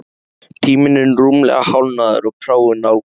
Tíminn er rúmlega hálfnaður og prófin nálgast,